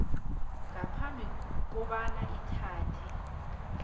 ngaphambi kobana ithathe